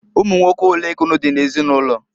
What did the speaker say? Ụmụnwoke olee ka unu di n'ezinụlọ?